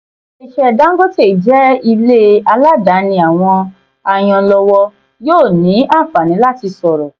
ilé iṣẹ́ dangote jẹ́ ilé aládàáni àwọn ayanlọ́wọ́ yóò ní àǹfààní láti sọ̀rọ̀.